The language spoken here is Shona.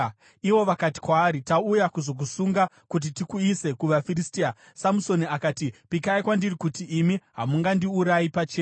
Ivo vakati kwaari, “Tauya kuzokusunga kuti tikuise kuvaFiristia.” Samusoni akati, “Pikai kwandiri kuti imi hamundiurayi pachenyu.”